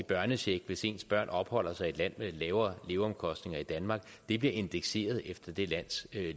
i børnecheck hvis ens børn opholder sig i et land med lavere leveomkostninger end danmark bliver indekseret efter det lands